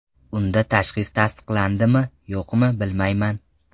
Unda tashxis tasdiqlandimi-yo‘qmi, bilmayman.